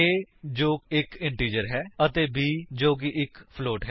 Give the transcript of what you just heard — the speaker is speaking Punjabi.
a ਜੋ ਇੱਕ ਇੰਟੀਜਰ ਹੈ ਅਤੇ b ਜੋ ਕਿ ਇੱਕ ਫਲੋਟ ਹੈ